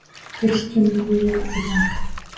Fylkjum liði í dag